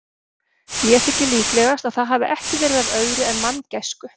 Mér þykir líklegast, að það hafi ekki verið af öðru en manngæsku.